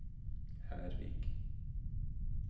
Hervik